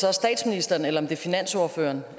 er statsministeren eller finansordføreren